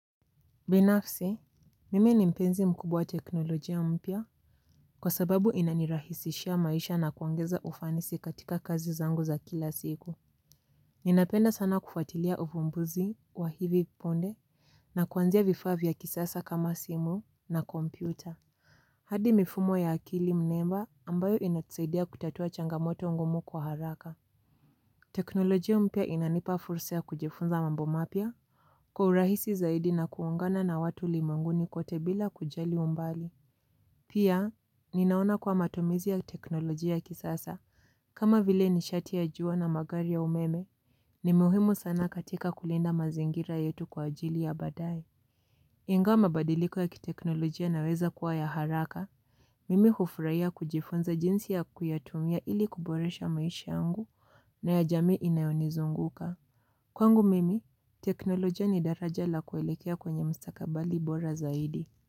Binafsi mimi ni mpenzi mkubwa teknolojia mpya. Kwa sababu inanirahisishia maisha na kuongeza ufanisi katika kazi zangu za kila siku. Ninapenda sana kufatilia uvumbuzi wa hivi punde. Na kuanzia vifaa vya kisasa kama simu na kompyuta hadi mifumo ya akili mnemba ambayo inatusaidia kutatua changamoto ngumu kwa haraka. Teknolojia mpya inanipa fursa kujifunza mambo mapya. Kwa urahisi zaidi na kuungana na watu ulimwenguni kote bila kujali umbali. Pia, ninaona kuwa matumizi ya teknolojia kisasa. Kama vile nishati ya jua na magari ya umeme, ni muhimu sana katika kulinda mazingira yetu kwa ajili ya baadae. Ingawa mabadiliko ya kiteknolojia yanaweza kuwa ya haraka, mimi hufurahia kujifunza jinsi ya kuyatumia ili kuboresha maisha yangu na ya jamii inayonizunguka. Kwangu mimi, teknolojia ni daraja la kuelekea kwenye mstakabari bora zaidi.